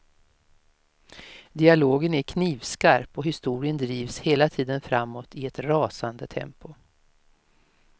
Dialogen är knivskarp och historien drivs hela tiden framåt i ett rasande tempo.